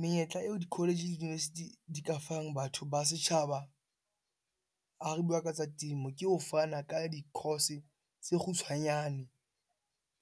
Menyetla eo di-college le di-university di ka fang batho ba setjhaba ha re bua ka tsa temo, ke ho fana ka di course tse kgutshwanyane